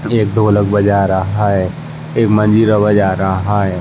एक ढ़ोलक बजा रहा हाय । एक मंजीरा बजा रहा हाय ।